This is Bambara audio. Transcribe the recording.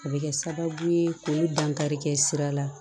A bɛ kɛ sababu ye k'o dankari kɛ sira la